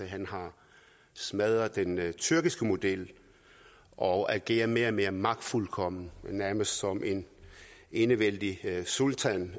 han har smadret den tyrkiske model og agerer mere og mere magtfuldkomment nærmest som en enevældig sultan